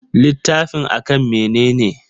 Littafin a kan mene ne?